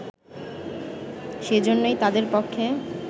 সেইজন্যই তাদের পক্ষে